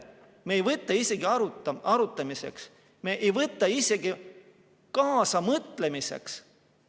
Me ei võta seda isegi arutamiseks, me ei võta isegi kaasamõtlemiseks.